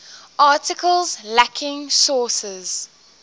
articles lacking sources